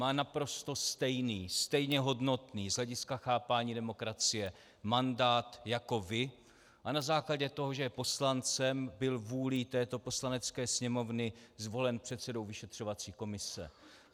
Má naprosto stejný, stejně hodnotný z hlediska chápání demokracie mandát jako vy a na základě toho, že je poslancem, byl vůlí této Poslanecké sněmovny zvolen předsedou vyšetřovací komise.